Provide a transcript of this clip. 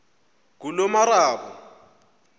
ngulomarabu